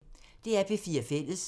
DR P4 Fælles